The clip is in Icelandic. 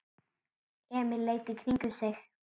Emil leit í kringum sig.